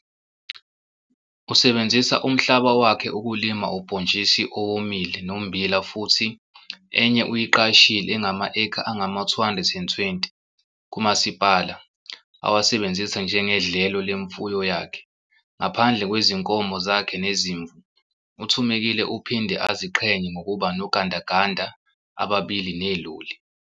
Usebenzisa umhlaba wakhe ukulima ubhontshisi owomile nommbila futhi enye uyiqashile engama-ekha angama-220 kumasipala awasebenzisa njengedlelo lemfuyo yakhe. Ngaphandle kwezinkomo zakhe nezimvu, uThumekile uphinde aziqhenye ngokuba nogandaganda ababili neloli.